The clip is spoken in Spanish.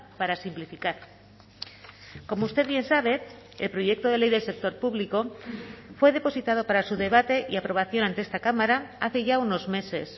para simplificar como usted bien sabe el proyecto de ley del sector público fue depositado para su debate y aprobación ante esta cámara hace ya unos meses